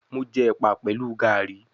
Mo jẹ ẹpa pẹlu Garri